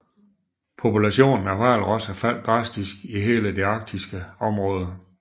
Populationen af hvalrosser faldt drastisk i hele det arktiske område